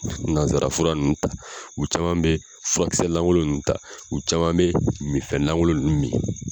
Nanzarafura ninnu ta, u caman bɛ furakisɛ lankolo nnnu ta, u caman bɛ minfɛn lankolon ninnu min.